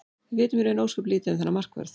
Við vitum í raun ósköp lítið um þennan markvörð.